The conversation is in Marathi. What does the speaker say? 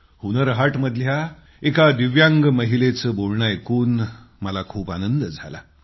हुन्नर हाटमध्ये एका दिव्यांग महिलेचं बोलणं ऐकून खूप आनंद झाला